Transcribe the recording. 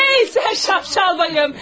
Hey sən şaşqal bayım!